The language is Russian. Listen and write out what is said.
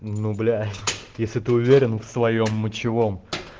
ну бля если ты уверен в своём мочевом